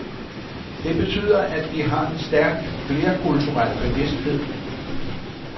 Det betyder, at de har en stærk flerkulturel bevidsthed.